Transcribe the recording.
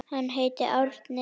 Hann heitir Árni.